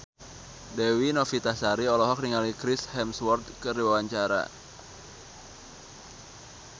Dewi Novitasari olohok ningali Chris Hemsworth keur diwawancara